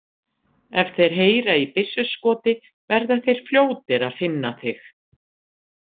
Ef þeir heyra í byssuskoti verða þeir fljótir að finna þig